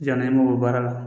Janni an mago bɛ baara la